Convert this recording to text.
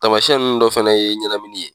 Tamasiyɛn nunnu dɔ fɛnɛ ye ɲɛnamini ye